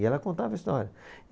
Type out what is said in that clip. E ela contava a história.